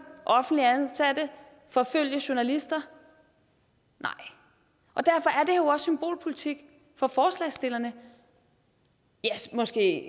offentligt ansatte forfølge journalister nej og derfor er jo også symbolpolitik for forslagsstillerne måske ikke